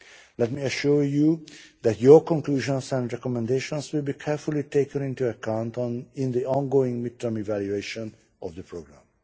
it. Let me assure you that your conclusions and recommendations will be carefully taken into account in the ongoing mid term evaluation of the programme.